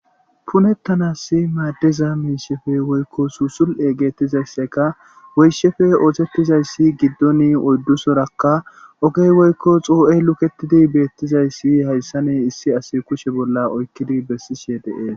punettanasi maaddeza miishefe woykko suusul7e geettizaysseka woyshefe ootettizayssi giddoni oyddu sorakka ogey woykko xuu7ey luketidi beettizaysii hayssane issi as kushe bolla oykkidi bessishe dee